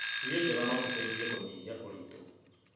Irio njega no citeithie harĩ kũnyihia ũritũ.